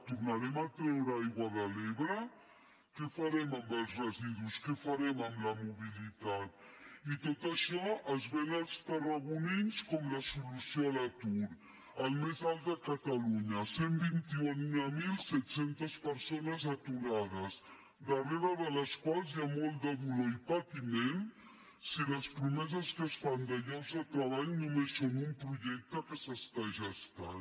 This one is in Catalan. tornarem a treure aigua de l’ebre què farem amb els residus què farem amb la mobilitat i tot això es ven als tarragonins com la solució a l’atur el més alt de catalunya cent i vint mil set cents persones aturades darrere de les quals hi ha molt de dolor i de patiment si les promeses que es fan de llocs de treball només són un projecte que s’està gestant